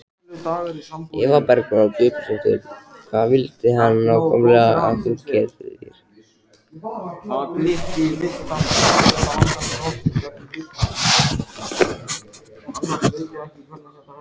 Eva Bergþóra Guðbergsdóttir: Hvað vildi hann nákvæmlega að þú gerðir?